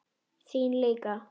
Þín líka.